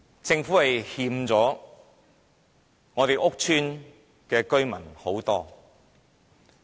政府對屋邨居民虧欠很多。